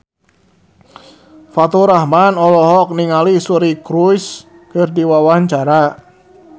Faturrahman olohok ningali Suri Cruise keur diwawancara